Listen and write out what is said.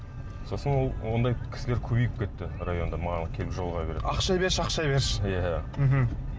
сосын ол ондай кісілер көбейіп кетті районда маған келіп жолыға беретін ақша берші ақша берші иә мхм